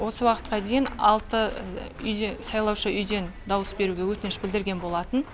осы уақытқа дейін алты сайлаушы үйден дауыс беруге өтініш білдірген болатын